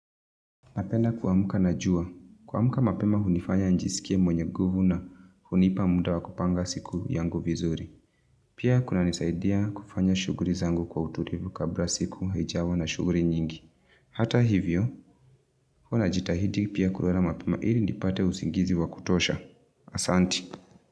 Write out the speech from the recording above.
Napenda kuamuka na jua, kuamuka mapema hunifanya nijisikie mwenye nguvu na hunipa muda wa kupanga siku yangu vizuri. Pia kunanisaidia kufanya shuguri zangu kwa uturivu kabra siku haijawa na shuguri nyingi. Hata hivyo, huwa najitahidi pia kulala mapema ili nipate usingizi wa kutosha. Asanti.